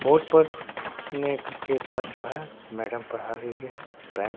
board पर नेख के पास जो है मैडम पढ़ा रही है बै--